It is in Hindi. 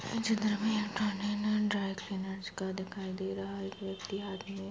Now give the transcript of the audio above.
ड्राइ क्लीनर्स का दिखाई दे रहा है एक व्यक्ति आदमी --